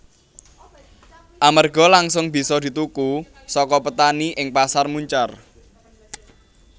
Amarga langsung bisa dituku saka petani ing Pasar Muncar